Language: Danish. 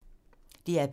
DR P2